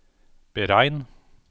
beregn